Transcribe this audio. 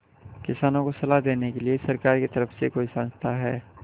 किसानों को सलाह देने के लिए सरकार की तरफ से कोई संस्था है